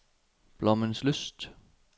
Blommenslyst